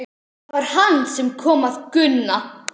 Það var hann sem kom að Gunna.